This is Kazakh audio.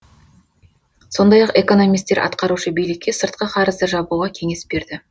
сондай ақ экономисттер атқарушы билікке сыртқы қарызды жабуға кеңес берді